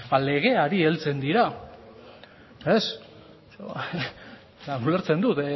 legeari heltzen dira ulertzen dut